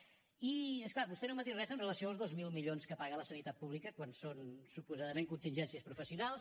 i és clar vostè no m’ha dit res amb relació als dos mil milions que paga la sanitat pública quan són suposadament contingències professionals